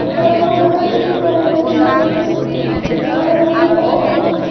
खड़ा हुआ है एक औरत एक मर्द जो छुप के जा रहे हैं और कुछ भी--